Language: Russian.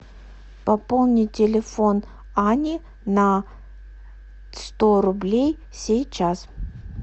пополни телефон ани на сто рублей сейчас